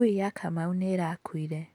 Ngui ya Kamau nĩ ĩrakuire.